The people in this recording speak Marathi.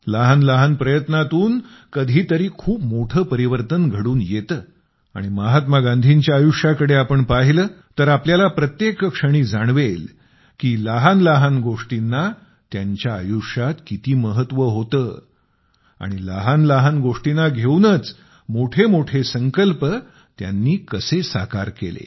लहान लहान प्रयत्नातून कधी कधी खूप मोठे परिवर्तन घडून येते आणि महात्मा गांधींच्या आयुष्याकडे आपण पाहिले तर आपल्याला प्रत्येक क्षणी जाणवेल की लहान लहान गोष्टींना त्यांच्या आयुष्यात किती महत्त्व होते आणि लहान लहान गोष्टींना घेऊनच मोठे मोठे संकल्प त्यांनी कसे साकार केले